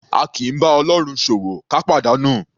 A kì í bá Ọlọ́run ṣòwò ká pàdánù. /